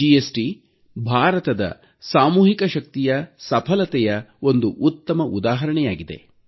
GST ಭಾರತದ ಸಾಮೂಹಿಕ ಶಕ್ತಿಯ ಸಫಲತೆಯ ಒಂದು ಉತ್ತಮ ಉದಾಹರಣೆಯಾಗಿದೆ